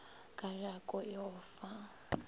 ka bjako e go fa